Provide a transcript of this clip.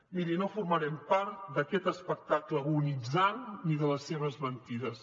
miri no formarem part d’aquest espectacle agonitzant ni de les seves mentides